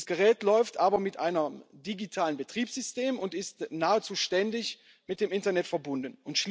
Dieses Gerät läuft aber mit einem digitalen Betriebssystem und ist nahezu ständig mit dem Internet verbunden.